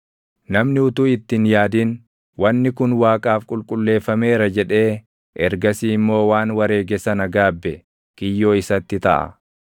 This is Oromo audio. Namni utuu itti hin yaadin, // “Wanni kun Waaqaaf qulqulleeffameera” jedhee ergasii immoo waan wareege sana gaabbe kiyyoo isatti taʼa.